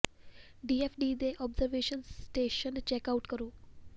D F D ਦੇ observation station check out ਕਰੋ